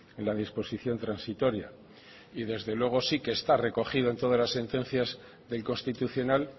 en la disposición transitoria y desde luego sí que está recogido en todas las sentencias del constitucional